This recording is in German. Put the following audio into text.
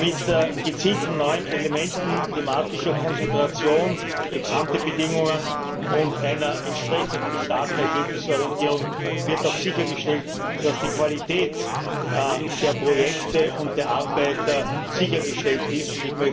Mit gezielten neuen Elementen, thematischer Konzentration, Ex ante Bedingungen und einer entsprechenden starken Ergebnisorientierung wird sichergestellt, dass die Qualität der Projekte und der Arbeit sichergestellt ist.